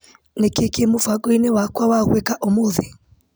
Nĩkĩĩ kĩ mũbango-inĩ wakwa wa gwĩka ũmũthĩ .